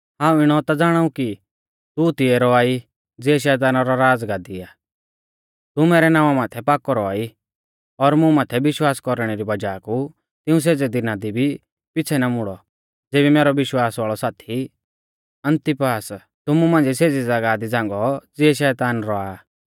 हाऊं इणौ ता ज़ाणाऊ कि तू तिऐ रौआ ई ज़िऐ शैताना रौ राज़गादी आ तू मैरै नावां माथै पाकौ रौआ ई और मुं माथै विश्वास कौरणै री वज़ाह कु तिऊं सेज़ै दिना दी भी पिछ़ै ना मुड़ौ ज़ेबी मैरौ विश्वास वाल़ौ साथी अन्तिपास तुमु मांझ़िऐ सेज़ी ज़ागाह दी झ़ांगौ ज़िऐ शैतान रौआ आ